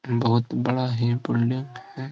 बहुत बड़ा ही बिल्डिंग है।